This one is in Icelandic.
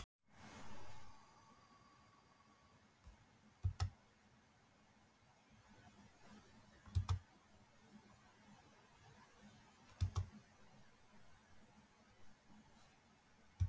Hann rétti úr sér og gekk röskum skrefum að svaladyrunum.